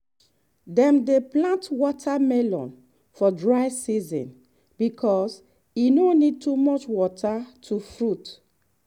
dem dey plant watermelon for dry season because e no need too much water to fruit.